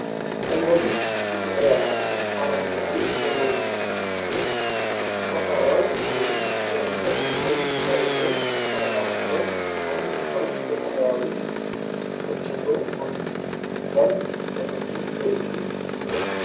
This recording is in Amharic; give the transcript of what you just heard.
እነዚህ ብዙ ቁጥር ያላቸው አረንጓዴ የሞሪንጋ እንጨቶች (ሽፈራው ወይም የእንጨት እንኮይ) መሬት ላይ ተነባብረዋል። አንድ ሰው በሰማያዊ ጂንስ ቁጭ ብሎ አንዳንድ እንጨቶችን በእጁ ይዟል።